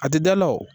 A tɛ da la o